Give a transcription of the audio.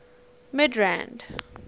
midrand